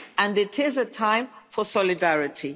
It is a time for solidarity.